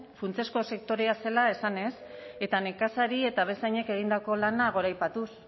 funtsezko sektorea zela esanez eta nekazari eta abeltzainek egindako lana goraipatuz